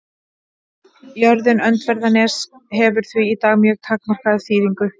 Jörðin Öndverðarnes hefur því í dag mjög takmarkaða þýðingu.